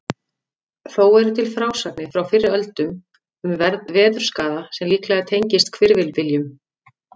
Þó eru til frásagnir frá fyrri öldum um veðurskaða sem líklega tengist hvirfilbyljum.